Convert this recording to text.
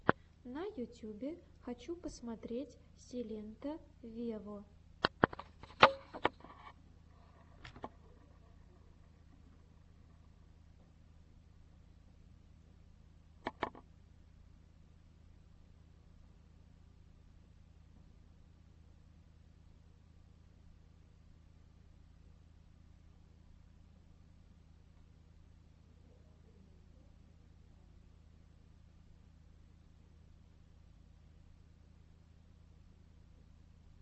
на ютюбе хочу посмотреть силенто вево